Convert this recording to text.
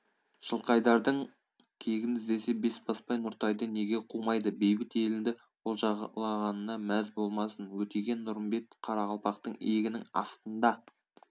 жылқайдардың кегін іздесе бесбасбай нұртайды неге қумайды бейбіт елнді олжалағанына мәз болмасын өтеген-нұрымбет қарақалпақтың иегінің астында